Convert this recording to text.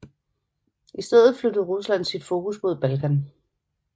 I stedet flyttede Rusland sit fokus mod Balkan